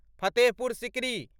Fatehpur Sikri